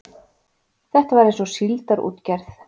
Þetta var eins og síldarútgerð.